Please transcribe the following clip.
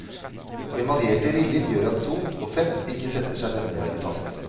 Emaljerte riller gjør at sot og fett ikke setter seg nevneverdig fast.